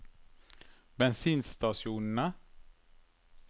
bensinstasjonene